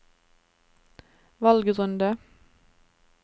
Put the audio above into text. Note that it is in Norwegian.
valgrunde